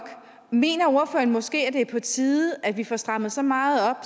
mener at måske er på tide at vi får strammet så meget op